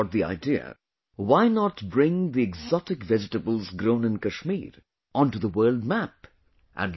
Some people got the idea... why not bring the exotic vegetables grown in Kashmir onto the world map